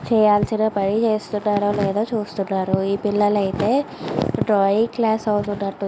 చేయాల్సిన పని చేస్తున్నారో లేదో చూస్తున్నారు ఈ పిల్లలైతే డ్రాయింగ్ క్లాస్ అవుతున్నటు ఉంది.